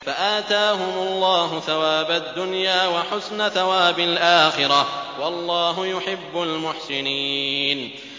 فَآتَاهُمُ اللَّهُ ثَوَابَ الدُّنْيَا وَحُسْنَ ثَوَابِ الْآخِرَةِ ۗ وَاللَّهُ يُحِبُّ الْمُحْسِنِينَ